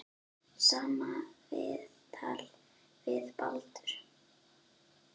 Sama viðtal við Baldur.